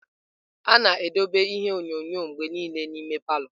A na-edobe ihe onyonyo mgbe niile n'ime palọ.